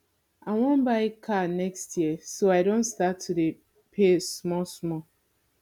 i wan buy car next year so i don start to dey pay small small